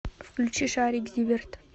включи шарик зиверт